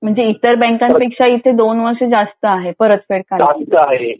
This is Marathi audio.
म्हणजे इतर बँका पेक्षा इथे २ वर्ष जास्त आहे परतफेड करण्यासाठी